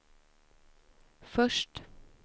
först